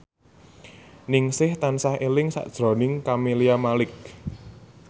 Ningsih tansah eling sakjroning Camelia Malik